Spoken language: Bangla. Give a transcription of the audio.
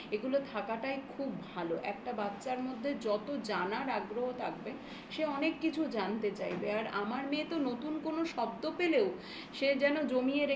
এগুলো থাকাটাই খুব ভালো. একটা বাচ্চার মধ্যে যত জানার আগ্রহ থাকবে সে অনেক কিছু জানতে চাইবে আর আমার মেয়ে তো নতুন কোনো শব্দ পেলেও সে যেন